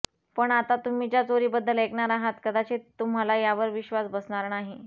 पण आता तुम्ही ज्या चोरीबद्दल ऐकणार आहात कदाचित तुम्हाला यावर विश्वास बसणार नाही